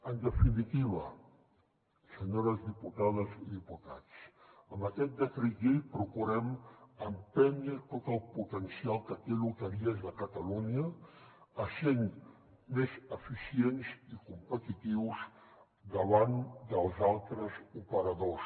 en definitiva senyores diputades i diputats amb aquest decret llei procurem empènyer tot el potencial que té loteries de catalunya essent més eficients i competitius davant dels altres operadors